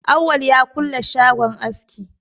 Awwal ya kulle shagon aski.